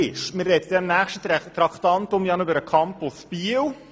Im nächsten Traktandum sprechen wir noch über den Campus Biel.